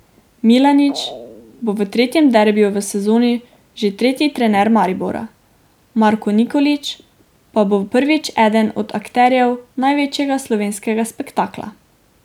Milanič bo v tretjem derbiju v sezoni že tretji trener Maribora, Marko Nikolić pa bo prvič eden od akterjev največjega slovenskega spektakla.